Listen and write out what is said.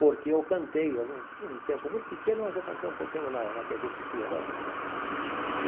Porque eu cantei algum um tempo muito pequeno, mas eu cantei um pouquinho na na tê vê Tupi, agora que eu me lembro.